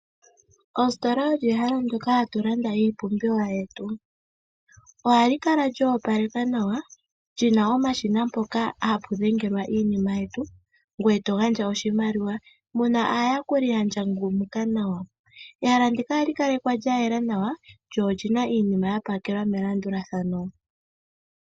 Ositola olyo ehala ndoka ha tu landamo iipumbiwa yetu. Oha mu kala mwa opalekwa nawa mo omu na omashina mpoka hapu dhengelwa iinima ,ngweye to gandja oshimaliwa. Oha mu kala aayakuli yandjangumuka nawa. Mehala muka oha mu kala mwa yela nawa mo omu na iinima ya pakelwa melandulathano.